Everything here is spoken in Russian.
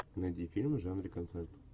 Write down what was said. найди фильм в жанре концерт